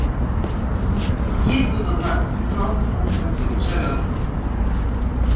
есть тут одна признался в конце концов джералд